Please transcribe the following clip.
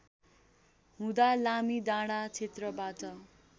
हुँदा लामीडाँडा क्षेत्रबाट